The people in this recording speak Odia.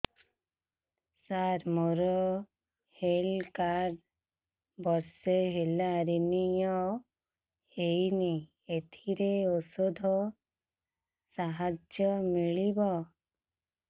ସାର ମୋର ହେଲ୍ଥ କାର୍ଡ ବର୍ଷେ ହେଲା ରିନିଓ ହେଇନି ଏଥିରେ ଔଷଧ ସାହାଯ୍ୟ ମିଳିବ